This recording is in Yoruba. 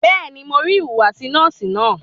Bẹ́ẹ̀ni, mo rí ìhùwàsí nọ́ọ̀sì náà.